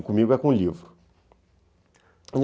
E comigo é com o livro.